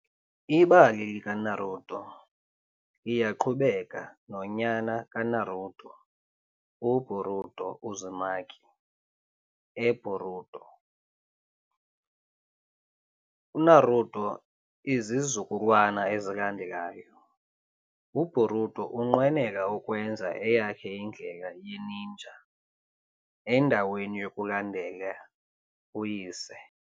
Ibali likaNaruto liyaqhubeka nonyana kaNaruto, uBoruto Uzumaki, eBoruto- Naruto Izizukulwana ezilandelayo- UBoruto unqwenela ukwenza eyakhe indlela ye-ninja endaweni yokulandela uyise .